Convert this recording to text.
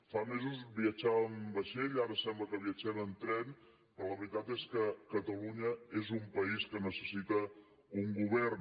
fa mesos viatjàvem en vaixell ara sembla que viatgem en tren però la veritat és que catalunya és un país que necessita un govern